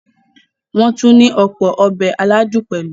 Wọ́n tún ní ọ̀pọ̀ “Ọbẹ̀" aládùn pẹ̀lú.